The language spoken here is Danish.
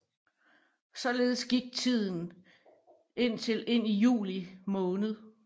Således gik tiden indtil ind i juli måned